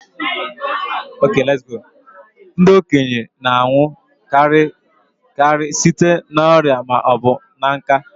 Ndị okenye na-anwụ karị site n'ọrịa ma ọ bụ nká